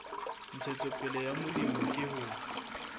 ntshetsopele ya molemi ke ho